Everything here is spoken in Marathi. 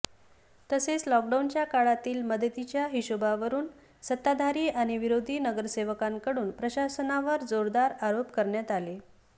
तसेच लॉकडाउनच्या काळातील मदतीच्या हिशोबावरून सत्ताधारी आणि विरोधी नगरसेवकांकडून प्रशासनावर जोरदार आरोप करण्यात आले